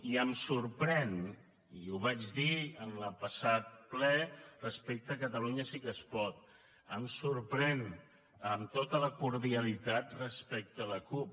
i em sorprèn i ho vaig dir en el passat ple respecte a catalunya sí que es pot em sorprèn amb tota la cordialitat respecte a la cup